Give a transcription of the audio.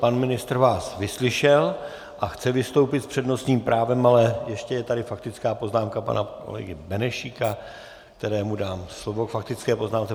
Pan ministr vás vyslyšel a chce vystoupit s přednostním právem, ale ještě je tady faktická poznámka pana kolegy Benešíka, kterému dám slovo k faktické poznámce.